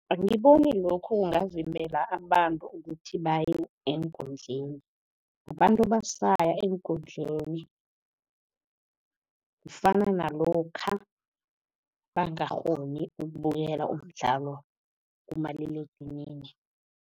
Angiboni lokho kungavimbela abantu ukuthi baye eenkundleni. Abantu basaya eenkundleni, kufana nalokha bangakghoni ukubukela umdlalo kumaliledinini.